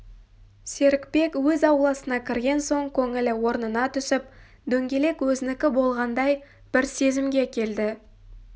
серікбек өз ауласына кірген соң көңілі орнына түсіп дөңгелек өзінікі болғандай бір сезімге келді